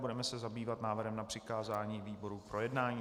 Budeme se zabývat návrhem na přikázání výboru k projednání.